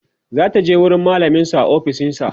zataje wurin mallamin su a ofishinsa